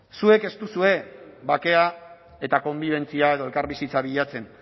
zuek ez duzue bakea eta konbibentzia edo elkarbizitza bilatzen